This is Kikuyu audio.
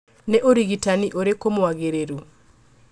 Nĩ ũrigitanĩ ũrĩkũ mwagĩrĩru